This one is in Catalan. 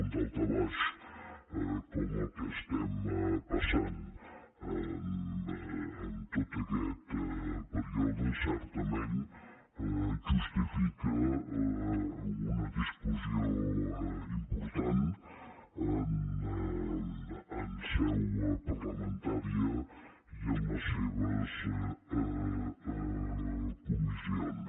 un daltabaix com el que estem passant en tot aquest període certament justifica una discussió important en seu parlamentària i en les seves comissions